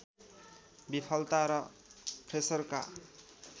विफलता र फ्रेसरका